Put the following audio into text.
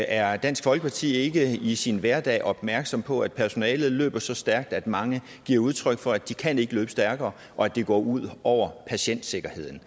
er dansk folkeparti ikke i sin hverdag opmærksom på at personalet løber så stærkt at mange giver udtryk for at de ikke kan løbe stærkere og at det går ud over patientsikkerheden